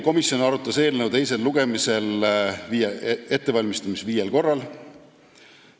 Komisjon arutas eelnõu selle teist lugemist ette valmistades viiel korral.